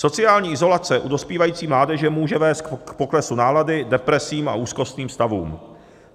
Sociální izolace u dospívající mládeže může vést k poklesu nálady, depresím a úzkostným stavům.